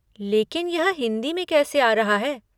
लेकिन यह हिन्दी में कैसे आ रहा है?